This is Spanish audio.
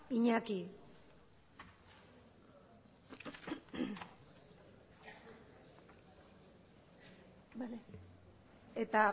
iñaki eta